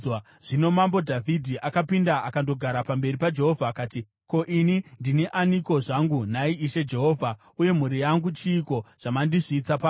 Zvino Mambo Dhavhidhi akapinda akandogara pamberi paJehovha, akati: “Ko, ini ndini aniko zvangu, nhai Ishe Jehovha, uye mhuri yangu chiiko, zvamandisvitsa pano?